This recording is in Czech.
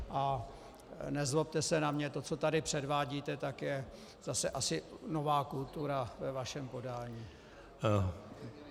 A nezlobte se na mě, to, co tady předvádíte, tak je zase asi nová kultura ve vašem podání.